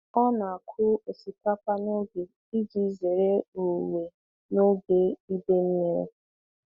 Ọ na-akụ osikapa n'oge iji zere owuwe n'oge ide mmiri.